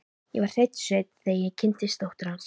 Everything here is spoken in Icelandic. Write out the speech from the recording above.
Ég var hreinn sveinn, þegar ég kynntist dóttur hans.